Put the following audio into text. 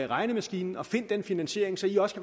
regnemaskinen og find den finansiering så i også